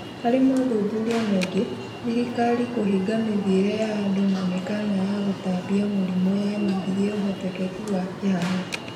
Harĩ mothuthuria maingĩ, thirikari kũhinge mithiĩre ya andũ na mĩkana ya gũtambia mũrimũ yanyihirie ũhotekeku wa kĩharo.